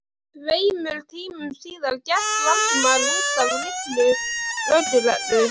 Tveimur tímum síðar gekk Valdimar út af litlu lögreglu